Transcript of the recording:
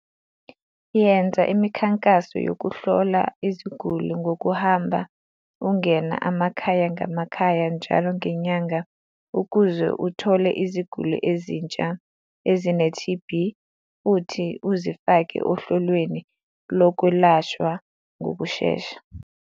.yenza imi khankaso yokuhlola iziguli ngokuhamba ingena amakhaya ngamakhaya njalo ngenyanga ukuze ithole iziguli ezintsha ezine-TB futhi izifake ohlelweni lokwelashwa ngokushesha.